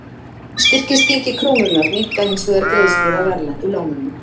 Styrkist gengi krónunnar minnka hins vegar greiðslur af erlendu lánunum.